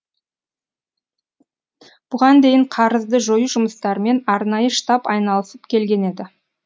бұған дейін қарызды жою жұмыстарымен арнайы штаб айналысып келген еді